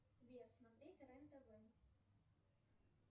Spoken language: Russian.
сбер смотреть рен тв